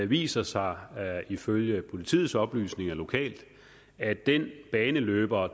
viser sig ifølge politiets oplysninger lokalt at den baneløber